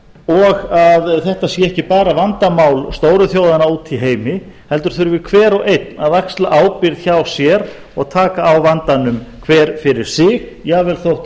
og að þetta sé ekki bara vandamál stóru þjóðanna úti í heimi heldur þurfi hver og einn að axla ábyrgð hjá sér og taka á vandanum hver fyrir sig jafnvel þótt